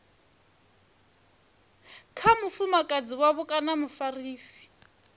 kha mufumakadzi wavho kana mufarisi